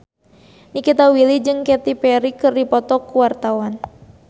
Nikita Willy jeung Katy Perry keur dipoto ku wartawan